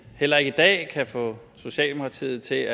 heller ikke i dag kan få socialdemokratiet til